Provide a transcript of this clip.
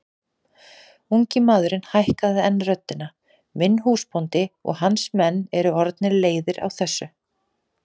Ungi maðurinn hækkaði enn röddina:-Minn húsbóndi og hans menn eru orðnir leiðir á þessu!